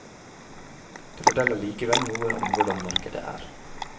Det forteller likevel noe om hvordan markedet er.